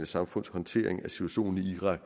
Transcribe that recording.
samfunds håndtering af situationen i irak